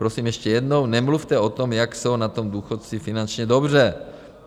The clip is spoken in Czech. Prosím ještě jednou, nemluvte o tom, jak jsou na tom důchodci finančně dobře.